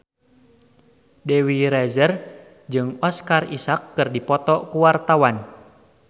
Dewi Rezer jeung Oscar Isaac keur dipoto ku wartawan